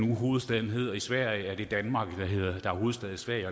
hovedstaden hedder i sverige det danmark der er hovedstad i sverige